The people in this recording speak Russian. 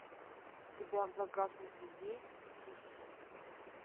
у тебя в загашнике есть сиси